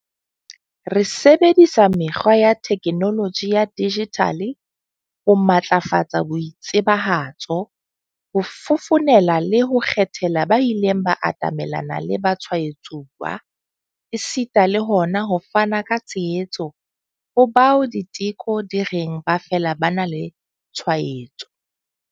Re sebedisa mekgwa ya theknoloji ya dijithale ho matlafatsa boitsebahatso, ho fofonela le ho kgethela ba ileng ba atamelana le batshwaetsuwa, esita le hona ho fana ka tshehetso ho bao diteko di reng ba fela ba na le tshwaetso.